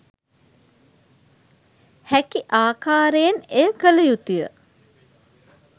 හැකි ආකාරයෙන් එය කළ යුතුය.